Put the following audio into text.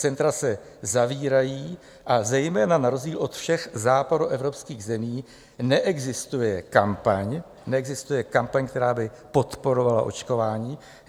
Centra se zavírají a zejména na rozdíl od všech západoevropských zemí neexistuje kampaň, neexistuje kampaň, která by podporovala očkování.